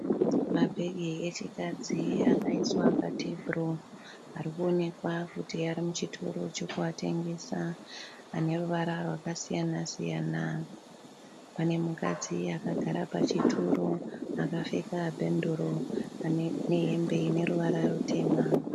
Mabhegi echikadzi akaiswa pa tebhuruu. Arikuonekwa kuti arimuchitoro chekuatengesa . Ane ruvara rwakasiyana siyana. Pane mukadzi akagara pachituru akapfeka bhenguru nehembe ineruvara rutema.